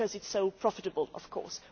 Because it is so profitable, of course.